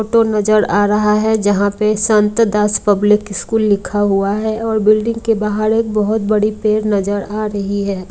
तो नजर आ रहा है जहां पे संत दास पब्लिक स्कूल लिखा हुआ है और बिल्डिंग के बाहर एक बहोत बड़ी पेड नजर आ रही है।